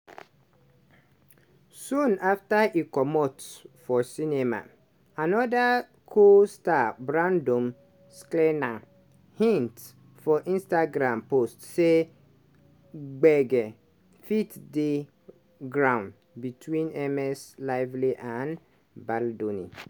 soon afta e comot for cinema anoda co-star brandon sklenar hint for instagram post say gbege fit dey ground between ms lively and baldoni.